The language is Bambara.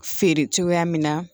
Feere cogoya min na